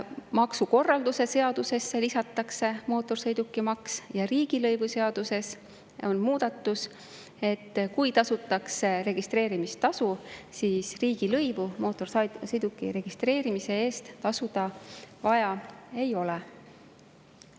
Maksukorralduse seadusesse lisatakse mootorsõidukimaks ja riigilõivuseaduses on muudatus, et kui tasutakse registreerimistasu, siis riigilõivu mootorsõiduki registreerimise eest tasuda vaja ei ole.